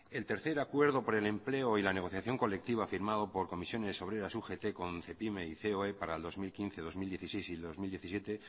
el tercer acuerdo por el empleo y la negociación colectiva firmado por comisiones obreras y ugt con cepyme y coe para el dos mil quince dos mil dieciséis y dos mil diecisiete